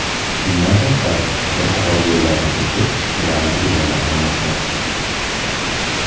Bundan tashqari, bir qator yo‘llarni to‘sib, ularni egallab olmoqda.